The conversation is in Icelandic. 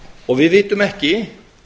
og við vitum ekki